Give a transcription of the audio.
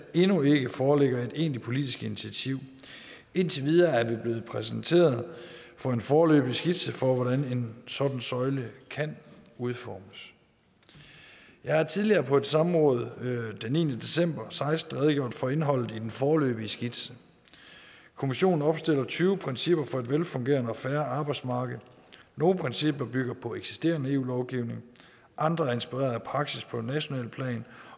endnu ikke foreligger et egentligt politisk initiativ indtil videre er vi blevet præsenteret for en foreløbig skitse for hvordan en sådan søjle kan udformes jeg har tidligere på et samråd den niende december og seksten redegjort for indholdet i den foreløbige skitse kommissionen opstiller tyve principper for et velfungerende og fair arbejdsmarked nogle principper bygger på eksisterende eu lovgivning andre er inspireret af praksis på nationalt plan